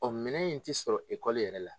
Ɔn minɛ in ti sɔrɔ yɛrɛ la.